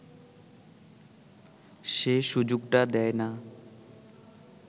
সে সুযোগটা দেয় না